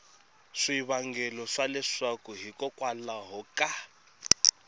swivangelo swa leswaku hikokwalaho ka